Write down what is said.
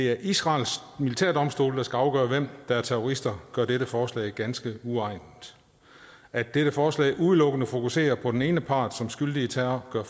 er israels militærdomstol der skal afgøre hvem der er terrorister gør dette forslag ganske uegnet at dette forslag udelukkende fokuserer på den ene part som skyldig i terror gør